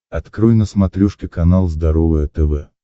открой на смотрешке канал здоровое тв